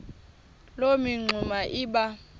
loo mingxuma iba